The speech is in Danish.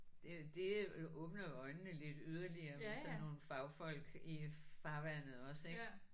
Det det åbner jo øjnene lidt yderligere med sådan nogle fagfolk i farvandet også ik